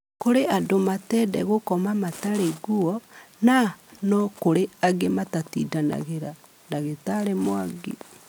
Kũrĩ na andũ matende Gũkoma matarĩ ngũo na no kũrĩ angĩ matatĩndanagĩra," Dagĩtarĩ Mwangi